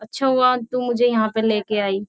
अच्छा हुआ तू मुझे यहां पर लेके आई --